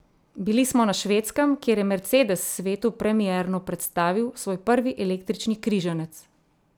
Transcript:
Bili smo na Švedskem, kjer je Mercedes svetu premierno predstavil svoj prvi električni križanec.